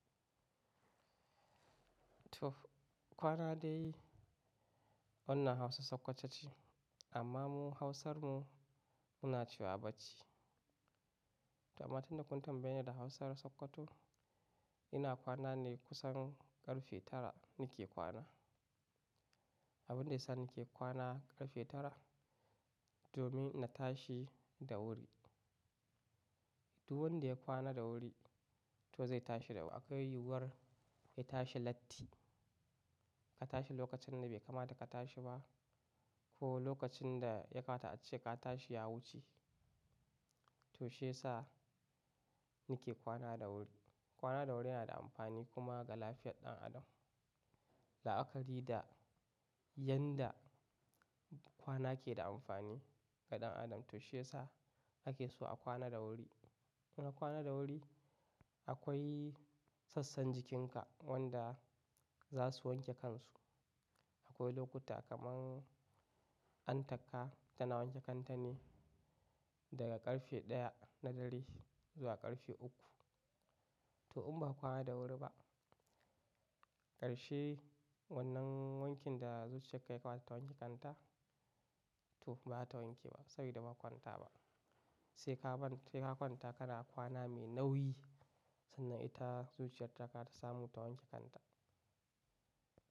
To kwana dai, wannan hausan sokoto ce amma mu hausar mu, muna cewa bacci. To amma tunda kun tambaye ni da hausan sokoto ina kwana ne kusan karfe tara ni ke kwana. Abun da ya sa ni ke kwana karfe tara domin na tashi da wuri. Duk wanda ya kwana da wuri to zai tashi da wuri. Akwai yi yuwar ya tashi latti ka tashi lokacin da bai kamata ka tashi ba. Ko lokacin da ya kamata ace ka tashi ya wuce. To shiyasa ni ke kwana da wuri. Kwana da wuri yana da amfani kuma ga lafiyar ɗan adam. La'akari da yanda kwana ke da amfani ga ɗan adam to shiyasa ake so a kwana da wuri. In a kwana da wuri akwai sassan jikin ka wanda za su wanke kansu. Akwai lokuta kaman, antaka tana wanke kan ta ne daga karfe ɗaya na dare zuwa karfe uku. To in ba ka kwana da wuri ba, karshe wannan wankin da zuciyar ka ya kamata ta wanke kanta, to ba ta wanke ba saboda ba ka kwanta ba. Sai ka kwanta kana kwana mai nauyi. Sannan ita zuciyar ta ka za ta samu ta wanke kanta.